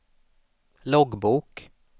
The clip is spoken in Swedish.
loggbok